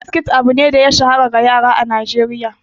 Biskit abu ne da ya shahara ga yara a Najeriya.